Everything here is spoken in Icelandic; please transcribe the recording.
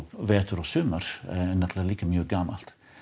vetur og sumar líka mjög gömul